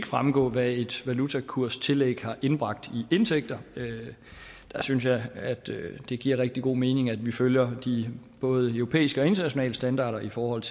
fremgå hvad et valutakurstillæg har indbragt i indtægter synes jeg at det giver rigtig god mening at vi følger de både europæiske og internationale standarder i forhold